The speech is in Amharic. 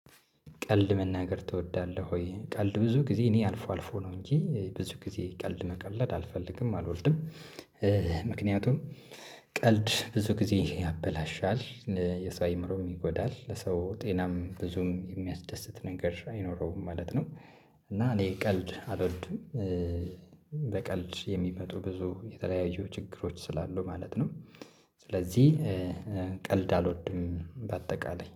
ቀልድ መናገር ትወዳለህ ወይ? ቀልድ ብዙ ጊዜ እኔ አልፎ አልፎ ነው እንጂ ብዙ ጊዜ ቀልድ መቀለድ አልፈልግም አልወልድም። ምክንያቱም ቀልድ ብዙ ጊዜ ያበላሻል የሰው አእምሮ ይጎዳል ለሰው ጤናም ብዙም የሚያስደስት ነገር አይኖረውም ማለት ነው። እና እኔ ቀልድ አልወድም። በቀልድ የሚመጡ ብዙ የተለያዩ ችግሮች ስላሉ ማለት ነው። ስለዚህ ቀልድ አልወድም። በአጠቃላይ